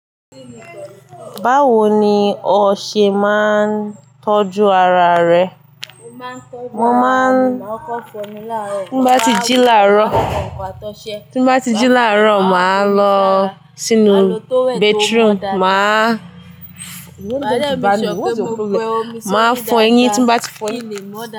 Báwo ni o ṣe máa ń tọ́jú ara rẹ? Mo máa ń, tí bá ti jí làárọ̀, tí bá ti jí làárọ̀, màá lọ sínú bathroom, màá fo ẹyin, tí n bá ti fo.